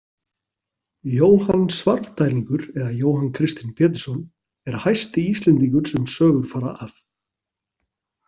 Jóhann Svarfdælingur eða Jóhann Kristinn Pétursson er hæsti Íslendingur sem sögur fara af.